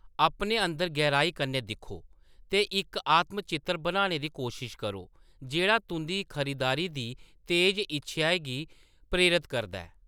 अपने अंदर गैहराई कन्नै दिक्खो ते इक आत्म-चित्तर बनाने दी कोशश करो जेह्‌ड़ा तुंʼदी खरीदारी दी तेज इच्छेआ गी प्रेरत करदा ऐ।